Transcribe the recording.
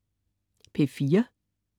P4: